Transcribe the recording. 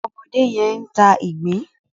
ọmọdé yén ń tá ìgbín.